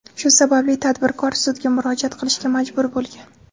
Shu sababli tadbirkor sudga murojaat qilishga majbur bo‘lgan.